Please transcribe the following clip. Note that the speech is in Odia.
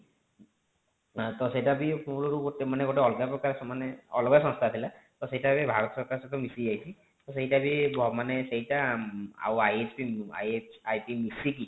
ତ ସେଇଟା ବି ମୂଳରୁ ଗୋଟେ ମାନେ ଅଲଗା ପ୍ରକାର ମାନେ ସେଇଟା ଗୋଟେ ଅଲଗା ସଂସ୍ଥା ଥିଲା ତ ସେଇଟା ଏବେ ଭାରତ ସରକାର ସହିତ ମିଶି ଯାଇଛି ତ ସେଇଟା ବି ଅ ମାନେ ସେଇଟା ଆଉ IF ମିସିକି